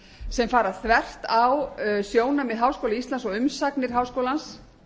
sem fara þvert á sjónarmið háskóla íslands og umsagnir háskólans